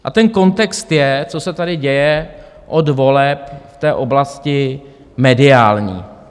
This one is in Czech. A ten kontext je, co se tady děje od voleb v té oblasti mediální.